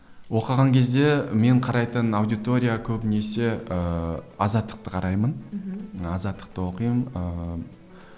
оқыған кезде мен қарайтын аудитория көбінесі ыыы азаттықты қараймын мхм азаттықты оқимын ыыы